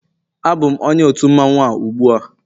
Abụm onye otu mmanwụ a ugbua